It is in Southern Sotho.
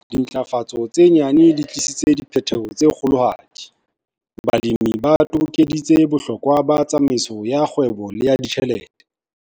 Dintlafatso tse nyane di tlisitse diphetho tse kgolohadi. Balemi ba tobokeditse bohlokwa ba tsamaiso ya kgwebo le ya ditjhelete.